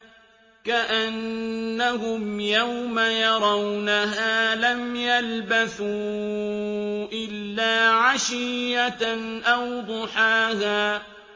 كَأَنَّهُمْ يَوْمَ يَرَوْنَهَا لَمْ يَلْبَثُوا إِلَّا عَشِيَّةً أَوْ ضُحَاهَا